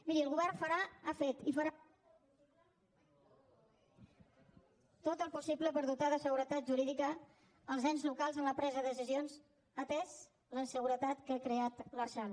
miri el govern farà ha fet i farà tot el possible per dotar de seguretat jurídica els ens locals en la presa de decisions atesa la inseguretat que ha creat l’lrsal